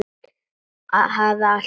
Hafði alltaf haldið.